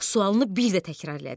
Sualını bir də təkrar elədi.